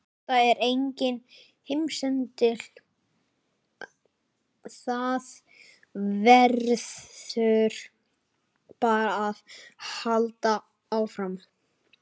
Þetta er enginn heimsendir, það verður bara að halda áfram.